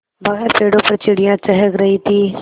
बाहर पेड़ों पर चिड़ियाँ चहक रही थीं